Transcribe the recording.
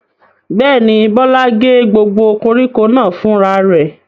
Bẹ́ẹ̀ ni, Bọ́lá gé gbogbo koríko náà fúnra rẹ̀.